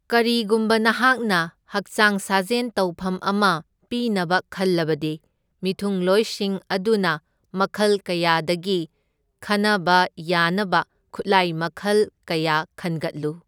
ꯀꯔꯤꯒꯨꯝꯕ ꯅꯍꯥꯛꯅ ꯍꯛꯆꯥꯡ ꯁꯥꯖꯦꯟ ꯇꯧꯐꯝ ꯑꯃ ꯄꯤꯅꯕ ꯈꯜꯂꯕꯗꯤ, ꯃꯤꯊꯨꯡꯂꯣꯏꯁꯤꯡ ꯑꯗꯨꯅ ꯃꯈꯜ ꯀꯌꯥꯗꯒꯤ ꯈꯟꯅꯕ ꯌꯥꯅꯕ ꯈꯨꯠꯂꯥꯏ ꯃꯈꯜ ꯀꯌꯥ ꯈꯟꯒꯠꯂꯨ꯫